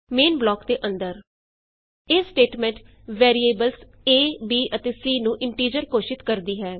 main block ਦੇ ਅੰਦਰ ਇਹ ਸਟੇਟਮੈਂਟ ਵੈਰੀਏਬਲਸ ਏ ਬੀ ਅਤੇ ਸੀ ਨੂੰ ਇੰਟੀਜ਼ਰ ਘੋਸ਼ਿਤ ਕਰਦੀ ਹੈ